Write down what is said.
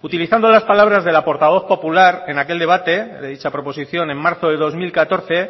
utilizando las palabras de la portavoz popular en aquel debate de dicha proposición en marzo de dos mil catorce